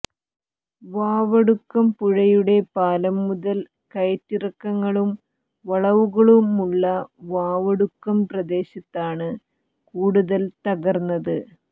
വാവടുക്കം പുഴയുടെ പാലം മുതൽ കയറ്റിറക്കങ്ങളും വളവുകളുമുള്ള വാവടുക്കം പ്രദേശത്താണ് കൂടുതൽ തകർന്നത്